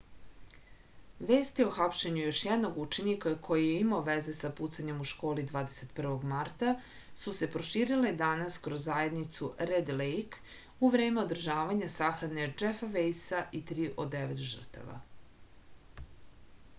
vesti o hapšenju još jednog učenika koji je imao veze sa pucanjem u školi 21. marta su se proširile danas kroz zajednicu red lejk u vreme održavanja sahrane džefa vejsa i tri od devet žrtava